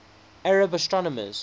arab astronomers